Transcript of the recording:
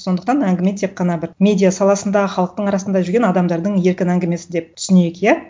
сондықтан әңгіме тек қана бір медиа саласындағы халықтың арасында жүрген адамдардың еркін әңгімесі деп түсінейік иә